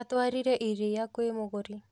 Atwarire iria kwĩ mũgũri